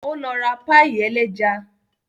Ó lọ ra páì ẹlẹ́ja